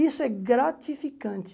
Isso é gratificante.